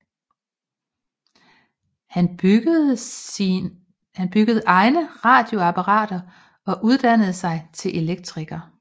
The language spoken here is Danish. Han byggede egne radioapparater og uddannede sig til elektriker